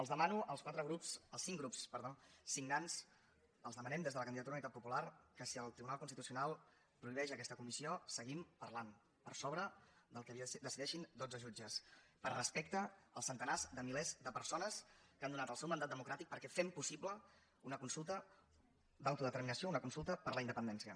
els demano als quatre grups als cinc grups perdó signants els demanem des de la candidatura d’unitat popular que si el tribunal constitucional prohibeix aquesta comissió seguim parlant per sobre del que decideixin dotze jutges per respecte als centenars de milers de persones que han donat el seu mandat democràtic perquè fem possible una consulta d’autodeterminació una consulta per la independència